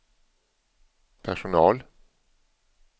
personal